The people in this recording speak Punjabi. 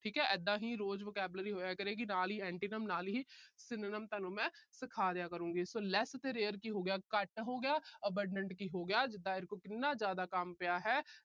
ਠੀਕ ਹੈ ਇਦਾਂ ਹੀ ਰੋਜ vocabulary ਹੋਇਆ ਕਰੇਗੀ। ਨਾਲ ਹੀ antonyms ਨਾਲ ਹੀ synonyms ਤੁਹਾਨੂੰ ਮੈਂ ਸਿਖਾ ਦਿਆ ਕਰੂੰਗੀ। so less ਤੇ rare ਕੀ ਹੋ ਗਿਆ ਘੱਟ ਹੋ ਗਿਆ। abandon ਕੀ ਹੋ ਗਿਆ ਜਿਦਾਂ ਇਹਦੇ ਕੋਲ ਕਿੰਨਾ ਜਿਆਦਾ ਕੰਮ ਪਿਆ ਹੈ।